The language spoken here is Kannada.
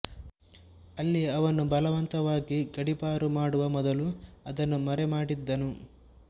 ಅಲ್ಲಿ ಅವನು ಬಲವಂತವಾಗಿ ಗಡಿಪಾರು ಮಾಡುವ ಮೊದಲು ಅದನ್ನು ಮರೆಮಾಡಿದ್ದನು